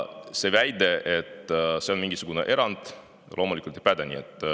See väide, et see on mingisugune erand, loomulikult ei päde.